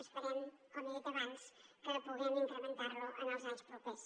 esperem com he dit abans que puguem incrementar lo en els anys propers